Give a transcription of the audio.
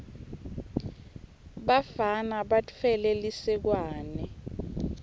bafana batfwele lisekwane